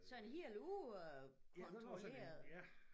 Sådan helt u øh kontrolleret